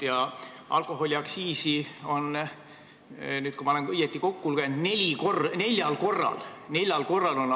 Ja alkoholiaktsiisi laekumise prognoosi on nüüd – kui ma olen õigesti kokku lugenud – langetatud neljal korral.